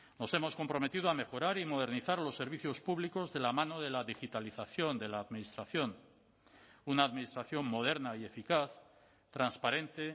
nos hemos comprometido a mejorar y modernizar los servicios públicos de la mano de la digitalización de la administración una administración moderna y eficaz transparente